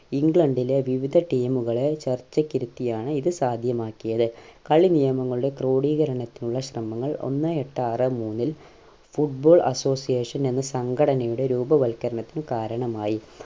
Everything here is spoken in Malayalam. ഇംഗ്ലണ്ടിലെ വിവിധ team കളെ ചർച്ചയ്ക്ക് ഇരുത്തിയാണ് ഇത് സാധ്യമാക്കിയത് കളി നിയമങ്ങളുടെ ക്രോഡീകരണത്തിനുള്ള ശ്രമങ്ങൾ ഒന്നേ എട്ട് ആറെ മൂന്നിൽ football association എന്ന സംഘടനയുടെ രൂപവൽകരണത്തിന് കാരണമായി